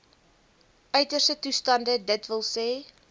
uiterste toestande dws